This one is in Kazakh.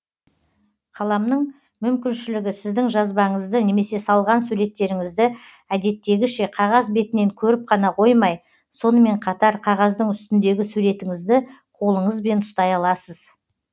қаламның мүмкіншілігі сіздің жазбаңызды немесе салған суреттеріңізді әдеттегіше қағаз бетінен көріп қана қоймай сонымен қатар қағаздың үстіндегі суретіңізді қолыңызбен ұстай аласыз